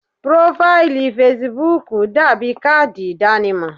Prófáílì fesibúùkù dàbí káàdì ìdánimọ̀.